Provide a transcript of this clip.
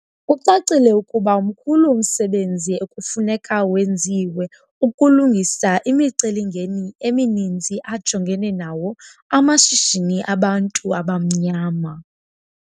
Kucacile ukuba mkhulu umsebenzi ekufuneka wenziwe ukulungisa imicelimngeni emininzi ajongene nawo amashishini abantu abamnyama.